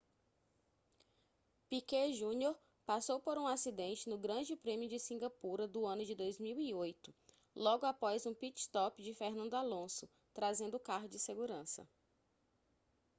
piquet jr passou por um acidente no grande prêmio de cingapura do ano de 2008 logo após um pit stop de fernando alonso trazendo o carro de segurança